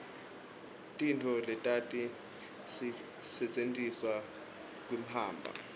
tintfo letati setjentiselwa kimhamba